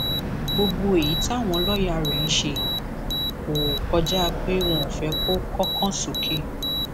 gbogbo èyí táwọn lọọyà rẹ ń ṣe yìí kò kọjá pé wọn ò fẹ kó kọkàn sókè